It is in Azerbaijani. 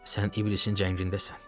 Sən iblisin cəngindəsən.